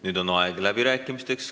Nüüd on aeg läbirääkimisteks.